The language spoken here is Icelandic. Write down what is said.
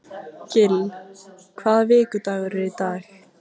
Gill, hvaða vikudagur er í dag?